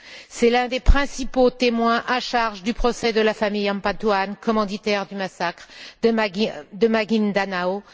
C'est l'un des principaux témoins à charge du procès de la famille Ampatuan, commanditaire du massacre de Maguindanao.